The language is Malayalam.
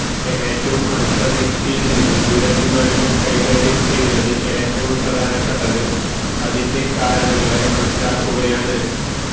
ഏറ്റവും അടുത്ത വ്യക്തിയിൽ നിന്ന് ദുരഭിമാനങ്ങൾ കൈകാര്യം ചെയ്യുന്നതിൽ ഏറ്റവും പ്രധാനപ്പെട്ടത് അതിന്റെ കാരണങ്ങളെ മനസ്സിലാക്കുകയാണ്